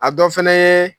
A dɔ fɛnɛ ye